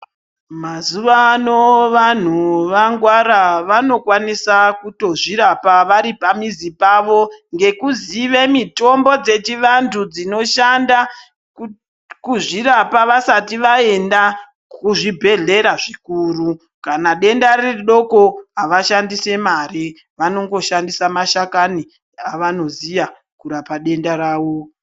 Mazuwano vanhu vangwara vanokwanisa kutozvirapa vari pamizi pavo ngekuzive mitombo dzechivantu dzinoshanda kuzvirapa vasati vaenda kuzvibhehlera zvikuru. Kana denda riri doko havashandisi mari. Vanongoshandisa mashakani avanoziya kurapa denda ravo.